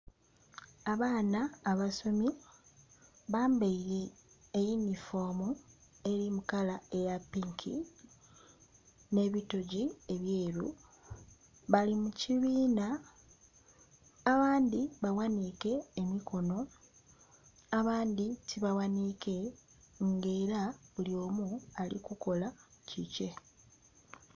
Abaana abasomi bambaire eyunifoomu eri mu kala eya pinki n'ebitogi ebyeru, bali mu kibiina abandhi baghaniike emikono abandhi tibaghaniike, nga era buli omu ali kukola kikye.